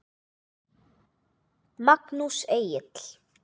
Magnús Egill.